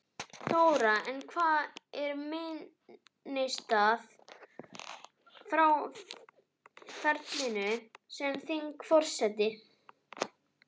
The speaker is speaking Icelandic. Þóra: En hvað er minnisstæðast frá ferlinum sem þingforseti?